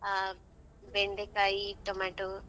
ಅಹ್ ಬೆಂಡೆಕಾಯಿ tomato .